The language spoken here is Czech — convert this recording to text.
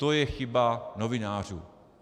To je chyba novinářů.